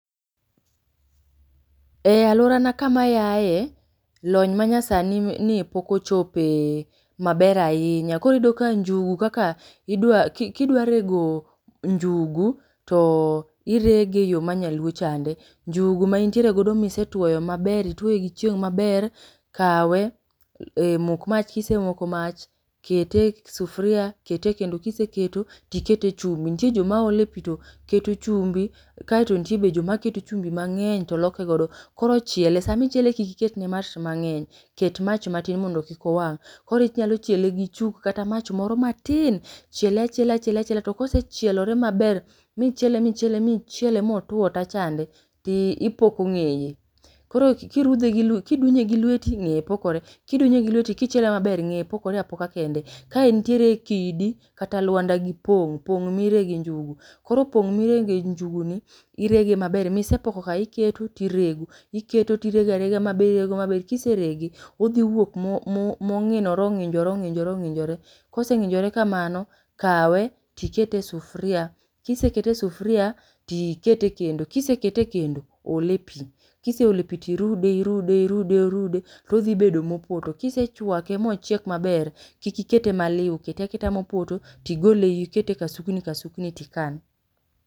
E alworana kama ayae, lony ma nyasani ni pok ochope maber ahinya koro iyudo ka njugu kaka idwa ki kidwa rego njugu to irege e yo ma nyaluo chande. Njugu ma intiere go misetuoyo maber ituoye gi chieng' maber, kawe lok ee mok mach kisemoko mach, kete e ke kete e sufria kete e kendo, kiseketo to iket e chumbi. Nitie joma ole pi to keto chumbi kae to nitie be joma keto chumbi mang'eny to loke godo. Koro chiele, sami chiele kik iket ne mach mang'eny, ket mach matin mondo kik owang'. Koro inyalo chiele gi chuk kata mach moro matin, chiele achiela chiele achiela to ka osechielore maber, michiele michiele mochiele ma otuo ta chande ti ipoko ng'eye. Koro kirudhe gi lwe kidunye gi lweti, ng'eye pokore, kidunye gi lweti kichiele maber ng'eye pokore apoka kende. Ka entiere kidi kata lwanda gi pong', pong' mirege njugu, koro pong' mirege njugu ni, irege maber misepoko ka iketo tirego, iketo tirego irega rega maber irego maber, kiserege odhi wuok mo mo ong'inore ong'injore ong'injore ong'injore, koseng'injore kamano kawe tikete e sufria, kiseke e sufria tikete e kendo, kisekete e kendo, ol e pi, kiseole pi tirude irude irude orude to odhi bedo mopoto. Kisechwake ma ochiek maber kik ikete maliu kete aketa mopoto, tigole ikete ei kasukni kasukni tikan.